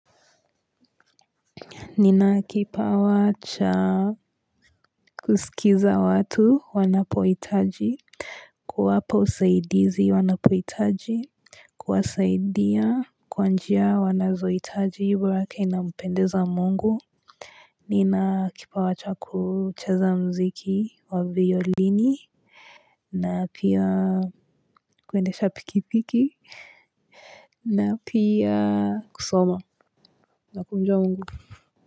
Nina kipawa cha kusikiza watu wanapoitaji kuwapa usaidizi wanapoitaji Kwasaidia kwanjia wanazoitaji hiburaka inapendeza mungu Nina akipawacha kucheza mziki wa violini na pia kwende sha pikipiki na pia kusoma na kumjuwa mungu.